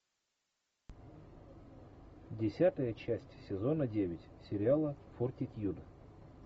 десятая часть сезона девять сериала фортитьюд